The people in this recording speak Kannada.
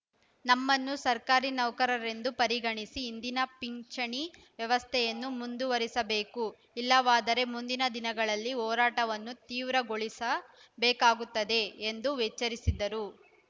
ನಮ್ಮನ್ನು ಸರ್ಕಾರಿ ನೌಕರರೆಂದು ಪರಿಗಣಿಸಿ ಹಿಂದಿನ ಪಿಂಚಿಣಿ ವ್ಯವಸ್ಥೆಯನ್ನು ಮುಂದುವರೆಸಬೇಕು ಇಲ್ಲವಾದರೆ ಮುಂದಿನ ದಿನಗಳಲ್ಲಿ ಹೊರಾಟವನ್ನು ತೀವ್ರಗೊಳಿಸ ಬೇಕಾಗುತ್ತದೆ ಎಂದು ವೇಚ್ಚರಿಸಿದರು